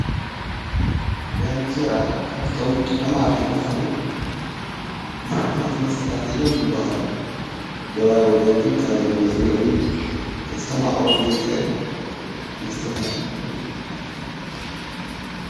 ዳንከራ ካብቶም ጡዑማት ዝባሃሉ ልሱሉሳት መስተታት እዮም ዝበሃሉ፡፡ በባይ ወገን ግን ካብዞም ዘፅልዑኒ ክስተማቕሮም ዘይኽእል መስተታት እዩ፡፡